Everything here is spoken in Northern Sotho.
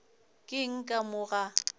ke eng ka mo ga